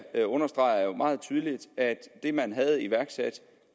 jeg understreger jo meget tydeligt at det man havde iværksat